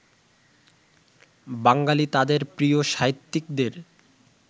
বাঙালি তাঁদের প্রিয় সাহিত্যিকদের